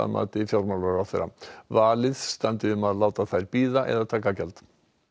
mati fjármálaráðherra valið standi um að láta þær bíða eða taka gjald